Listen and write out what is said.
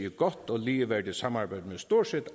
i godt og ligeværdigt samarbejde med stort set